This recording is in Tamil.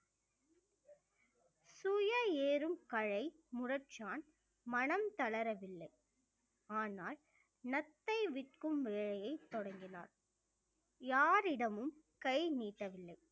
சுய ஏறும் கலை முரச்சான் மனம் தளரவில்லை ஆனால் நத்தை விற்கும் வேலையை தொடங்கினார் யாரிடமும் கை நீட்டவில்லை